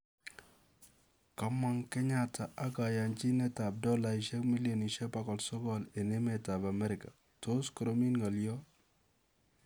Koomong' Kenyatta ak kaayanchiinet ap dolla milionishek 900 eng' emet ap Amerika, tos koroomit ng'oliot